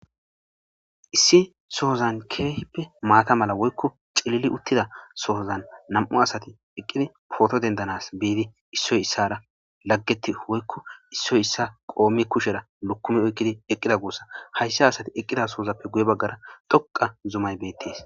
issi sohozan keehippe maata mala woykko cilili uttida sohozan nam7u asati eqqidi pooto dendanas bidi issoy issara laggeti woykko issoy issa qoommi kushera lokumi oykkidi eqqida guussa hayssa asati eqqida soozappe guye baggara dhoqa zumay beettees